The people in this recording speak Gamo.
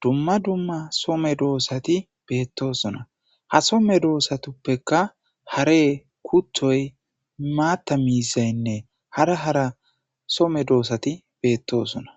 dumma dumma some doossati beettoosona ha some doossatuppekka hare kuthoy maatta miisaynne hara hara some doossati beettosona